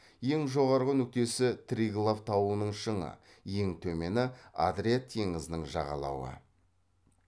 ең жоғарғы нүктесі триглав тауының шыңы ең төмені адриат теңізінің жағалауы